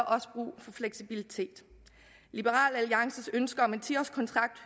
også brug for fleksibilitet liberal alliances ønske om en ti årskontrakt